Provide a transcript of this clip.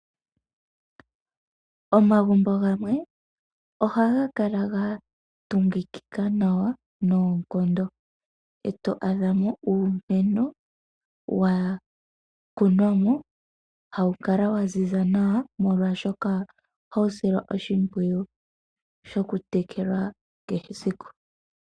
Omagumbo gamwe ohaga kala ga tungingika nawa noonkondo, e to adhamo uumeno wa kunwamo hawu kala wa ziza nawa molwashoka ohawu silwa oshimpwiyu shoku tekelwa kehe esiku.